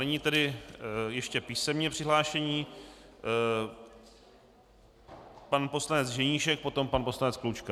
Nyní tedy ještě písemně přihlášení - pan poslanec Ženíšek, potom pan poslanec Klučka.